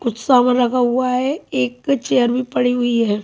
कुछ लगा हुआ है एक चेयर भी पड़ी हुई है।